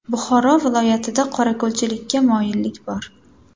Buxoro viloyatida qorako‘lchilikka moyillik bor.